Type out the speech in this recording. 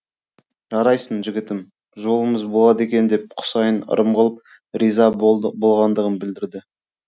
жарайсың жігітім жолымыз болады екен деп құсайын ырым қылып риза болғандығын білдірді